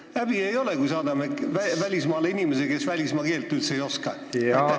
Kas häbi ei ole, kui me saadame välismaale inimese, kes välismaa keelt üldse ei oska?